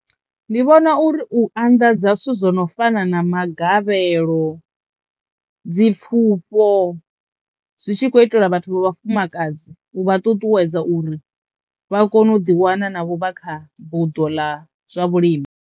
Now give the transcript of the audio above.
Ndi vhona uri u anḓadza zwithu zwo no fana na magavhelo, dzi pfhufho zwi tshi kho itelwa vhathu vha vhafumakadzi u vha ṱuṱuwedza uri vha kono u ḓi wana na vho vha kha buḓo ḽa zwa vhulimi.